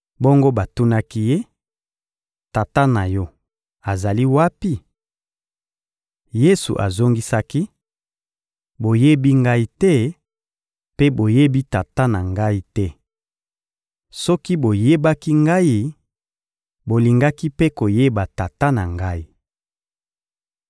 Bongo batunaki Ye: — Tata na yo azali wapi? Yesu azongisaki: — Boyebi Ngai te, mpe boyebi Tata na Ngai te. Soki boyebaki Ngai, bolingaki mpe koyeba Tata na Ngai.